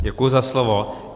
Děkuji za slovo.